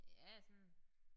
Ja sådan